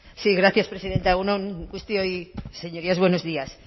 sí gracias presidenta egun on guztioi señorías buenos días